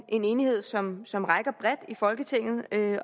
en enighed som som rækker bredt i folketinget